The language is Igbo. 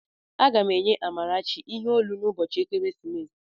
Aga m enye Amarachi ihe olu n'ụbọchị ekeresimesi